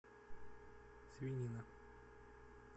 свинина